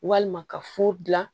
Walima ka furu dilan